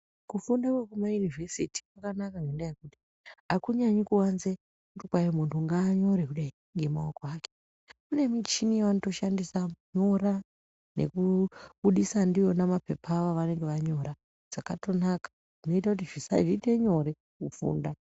Kufunda kwekumayunivhesiti kwakanaka ngendaa yekuti akunyanyi kuwanze kuti kwai munthu ngaanyore kudai ngemaoko ake kune michini yavanotoshandisa kunyora nekubudisa ndiwona mapepa avo avanenge vanyora zvakatonaka zvinoite kuti zviite nyore kufunda.